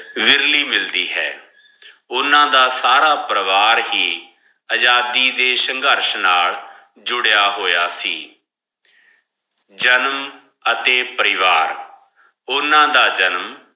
ਵੇਰਲੀ ਮਿਲ ਦੀ ਹੈ ਓਨਾ ਦਾ ਸਾਰਾ ਪਰਵਾਰ ਹੀ ਅਜਾਦੀ ਦੇ ਸ਼ੰਗਰਸ਼ ਨਾਲ ਜੁਰਯ ਹੋਯਾ ਸੇ ਜਨਮ ਹਾਥੀ ਪਰਿਵਾਰ ਓਨਾ ਦਾ ਜਨਮ